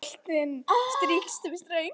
Boltinn strýkst við stöng